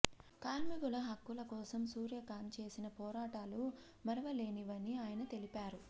కార్మికుల హక్కుల కోసం సూర్యకాంత్ చేసిన పోరాటాలు మరువలేనివని ఆయన తెలిపారు